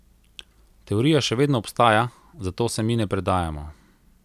Teorija še vedno obstaja, zato se mi ne predajamo.